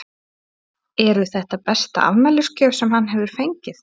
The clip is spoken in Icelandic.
Eru þetta besta afmælisgjöf sem hann hefur fengið?